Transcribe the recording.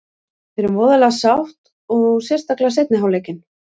Við erum voðalega sátt og sérstaklega seinni hálfleikinn.